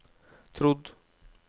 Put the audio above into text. trodd